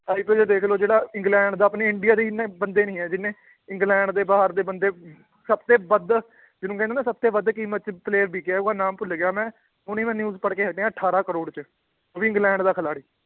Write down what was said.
ਦੇਖ ਲਓ ਜਿਹੜਾ ਇੰਗਲੈਂਡ ਦਾ ਆਪਣੇ ਇੰਡੀਆ ਦੇ ਇੰਨੇ ਬੰਦੇ ਨੀ ਹੈ ਜਿੰਨੇ ਇੰਗਲੈਂਡ ਦੇ ਬਾਹਰ ਦੇ ਬੰਦੇ ਸਭ ਤੇ ਵੱਧ ਜਿਹਨੂੰ ਕਹਿੰਦੇ ਨਾ ਸਭ ਤੇ ਵੱਧ ਕੀਮਤ 'ਚ player ਵਿਕਿਆ ਉਹਦਾ ਨਾਂ ਭੁੱਲ ਗਿਆ ਮੈਂ, ਹੁਣੀ ਮੈਂ news ਪੜ੍ਹਕੇ ਹਟਿਆ ਅਠਾਰਾਂ ਕਰੌੜ 'ਚ ਉਹ ਵੀ ਇੰਗਲੈਂਡ ਦਾ ਖਿਲਾਡੀ